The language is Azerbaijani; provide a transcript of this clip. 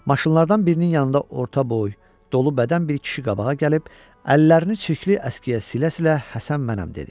Maşınlardan birinin yanında orta boy, dolu bədən bir kişi qabağa gəlib əllərini çirkli əskiyə silə-silə "Həsən mənəm" dedi.